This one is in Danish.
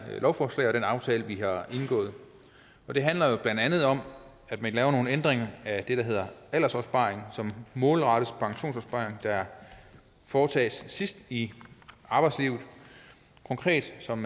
lovforslag og den aftale vi har indgået det handler jo blandt andet om at vi laver nogle ændringer i af det der hedder aldersopsparing som målrettes pensionsopsparing der foretages sidst i arbejdslivet konkret som